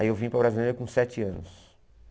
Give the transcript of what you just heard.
Aí eu vim para a Brasilândia com sete anos.